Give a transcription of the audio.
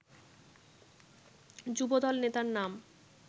যুবদল নেতার নাম